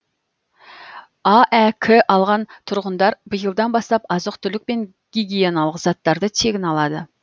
аәк алған тұрғындар биылдан бастап азық түлік пен гигиеналық заттарды тегін алады